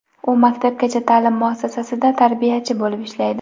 U maktabgacha ta’lim muassasasida tarbiyachi bo‘lib ishlaydi.